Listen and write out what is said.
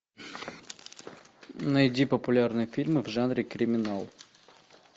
найди популярные фильмы в жанре криминал